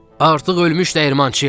Artıq ölmüş dəyirmançıyam!